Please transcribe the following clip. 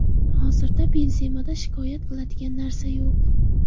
Hozirda Benzemada shikoyat qiladigan narsa yo‘q.